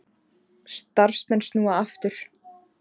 Starfsmenn snúa aftur